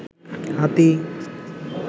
হাতী